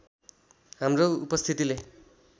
हाम्रो उपस्थितिले